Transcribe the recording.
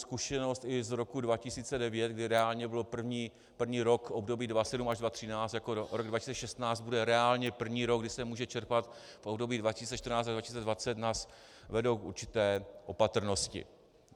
Zkušenosti i z roku 2009, kdy reálně byl první rok období 2007 až 2013, jako rok 2016 bude reálně první rok, kdy se může čerpat v období 2014 až 2020, nás vedou k určité opatrnosti.